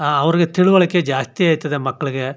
ಅವ್ರಿಗೆ ತಿಳವಳಿಕೆ ಜಾಸ್ತಿ ಆಯ್ತದೆ ಮಕ್ಳುಗೆ --